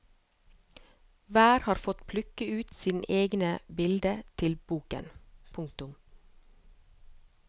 Hver har fått plukke ut sine egne bilder til boken. punktum